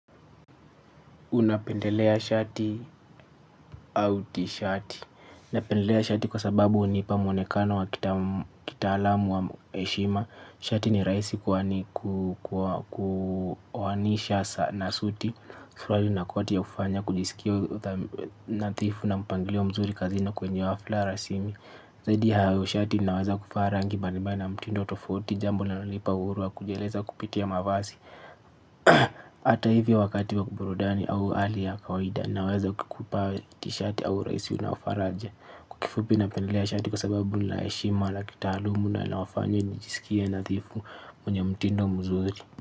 Unapendelea shati au tishati napendelea shati kwa sababu hunipa mwonekano wa kitaalamu wa heshima. Shati ni rahisi kuoanisha na suti. Suruali na koti ya hufanya kujisikia nadhifu na mpangilio mzuri kazini kwenye hafla rasmi. Zaidi ya hao shati inawaza kufaa rangi mbalimbali na mtindo tofauti. Jambo linalonipa uhuru wa kujieleza kupitia mavazi hata hivyo wakati wa burudani au hali ya kawaida naweza kukupa t-shati au rahisi unao faraja. Kwa kifupi napendelea shati kwa sababu la heshima la kitaalumu na nawafanya nijisikie nadhifu mwenye mtindo mzuri.